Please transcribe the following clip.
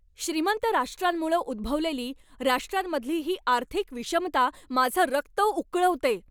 श्रीमंत राष्ट्रांमुळं उद्भवलेली राष्ट्रांमधली ही आर्थिक विषमता माझं रक्त उकळवते.